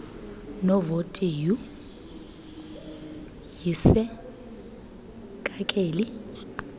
novoti yhu yisekakeli